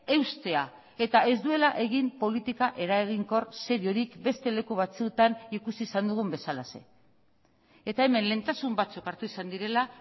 eustea eta ez duela egin politika eraginkor seriorik beste leku batzuetan ikusi izan dugun bezalaxe eta hemen lehentasun batzuk hartu izan direla